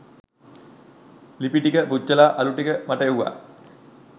ලිපිටික පුච්චලා අළු ටික මට එව්වා.